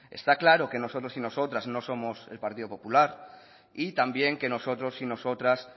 está claro que nosotros y nosotras no somos el partido popular y también que nosotros y nosotras